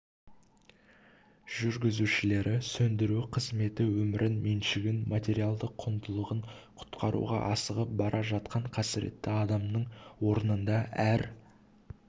жүргізушілері сөндіру қызметі өмірін меншігін материалдық құндылығын құтқаруға асығып бара жатқан қасіретті адамның орнында әр